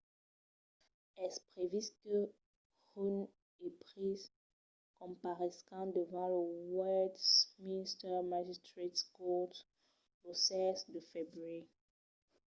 es previst que huhne e pryce comparescan davant lo westminster magistrates court lo 16 de febrièr